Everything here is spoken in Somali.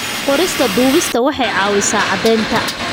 Qorista duubista waxay caawisaa caddaynta.